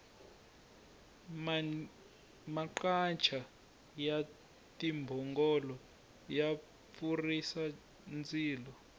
maqacha ya timbhongolo ya pfurhisa ndzilo